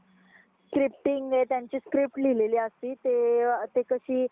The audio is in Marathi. scripting आहे त्यांची script लिलेली असते ते अ ते कशी